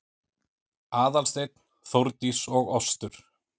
Aðalsteinn, Þórdís og Ostur